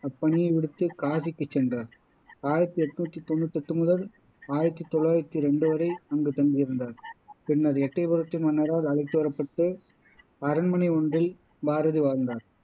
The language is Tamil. அப்பணியை விடுத்து காசிக்குச் சென்றார் ஆயிரத்தி என்னுத்தி தொன்னுத்தி எட்டு முதல் ஆயிரத்தி தொள்ளாயிரத்தி ரெண்டு வரை அங்கு தங்கி இருந்தார் பின்னர் எட்டயபுரத்தின் மன்னரால் அழைத்து வரப்பட்டு அரண்மனை ஒன்றில் பாரதி வாழ்ந்தார்